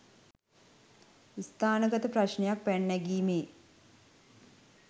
ස්ථානගත ප්‍රශ්නයක් පැන නැගීමේ